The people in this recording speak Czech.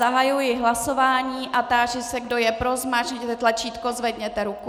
Zahajuji hlasování a táži se, kdo je pro, zmáčkněte tlačítko, zvedněte ruku.